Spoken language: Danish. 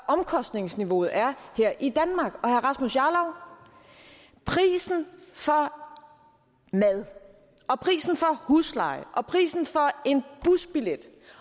omkostningsniveauet er her i danmark og prisen for mad og prisen for husleje og prisen for en busbillet